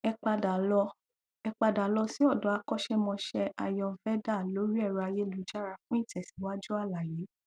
ẹ padà lọ ẹ padà lọ sí ọdọ akọṣémọṣé ayurveda lórí ẹrọ ayélujára fún ìtẹsíwájú àlàyé